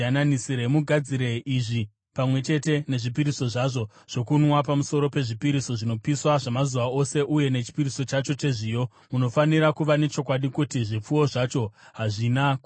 Mugadzire izvi pamwe chete nezvipiriso zvazvo zvokunwa, pamusoro pezvipiriso zvinopiswa zvamazuva ose uye nechipiriso chacho chezviyo. Munofanira kuva nechokwadi kuti zvipfuwo zvacho hazvina kuremara.